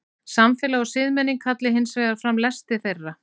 samfélag og siðmenning kalli hins vegar fram lesti þeirra